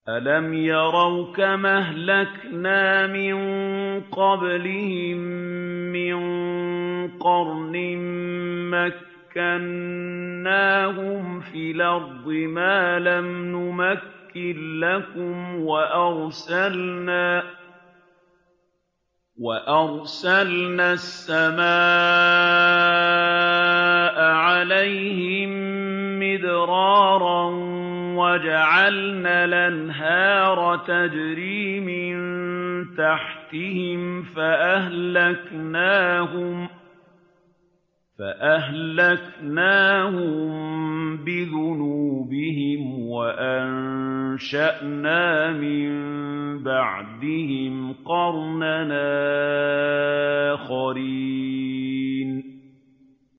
أَلَمْ يَرَوْا كَمْ أَهْلَكْنَا مِن قَبْلِهِم مِّن قَرْنٍ مَّكَّنَّاهُمْ فِي الْأَرْضِ مَا لَمْ نُمَكِّن لَّكُمْ وَأَرْسَلْنَا السَّمَاءَ عَلَيْهِم مِّدْرَارًا وَجَعَلْنَا الْأَنْهَارَ تَجْرِي مِن تَحْتِهِمْ فَأَهْلَكْنَاهُم بِذُنُوبِهِمْ وَأَنشَأْنَا مِن بَعْدِهِمْ قَرْنًا آخَرِينَ